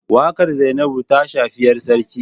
Wakar Zainabu ta shafi ‘yar sarki